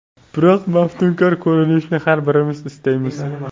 Biroq maftunkor ko‘rinishni har birimiz istaymiz.